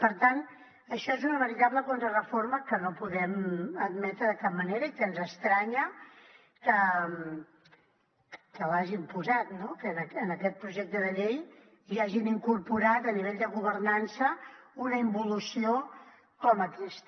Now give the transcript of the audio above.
per tant això és una veritable contrareforma que no podem admetre de cap manera i que ens estranya que l’hagin posat no que en aquest projecte de llei hi hagin incorporat a nivell de governança una involució com aquesta